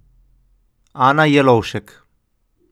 Ana Jelovšek.